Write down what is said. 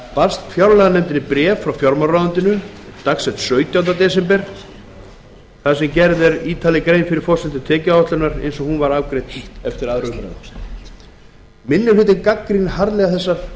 barst fjárlaganefnd bréf frá fjármálaráðuneytinu dags sautjánda desember þar sem gerð er ítarleg grein fyrir forsendum tekjuáætlunar eins og hún var afgreidd eftir aðra umræðu minni hlutinn gagnrýnir harðlega